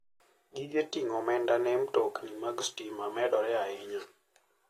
Gige ting'o omenda ne mtokni mag stima medore ahinya.